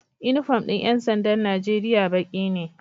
Inufom din yansandan Nigeria Baki ne